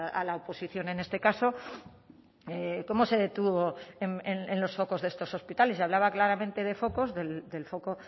a la oposición en este caso cómo se detuvo en los focos de estos hospitales y hablaba claramente de focos del foco